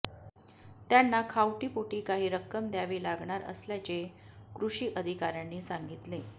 त्यांना खावटीपोटी काही रक्कम द्यावी लागणार असल्याचे कृषी अधिकार्यांनी सांगितले